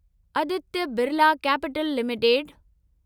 Aditya Birla Capital limited